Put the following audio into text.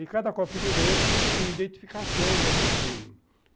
E cada copinho desse tem identificação do cassino.